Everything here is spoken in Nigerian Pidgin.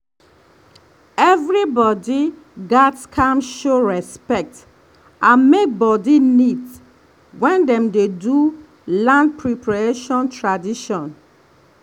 everybody gats calm show respect and make body neat when dem dey do land preparation tradition.